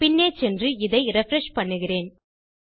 பின்னே சென்று இதை ரிஃப்ரெஷ் செய்கிறேன்